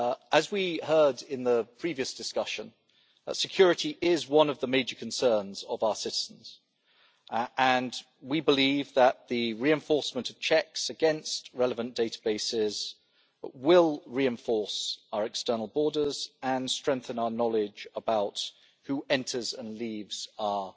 As we heard in the previous discussion, security is one of the major concerns of our citizens and we believe that the reinforcement of checks against relevant databases will reinforce our external borders and strengthen our knowledge about who enters and leaves our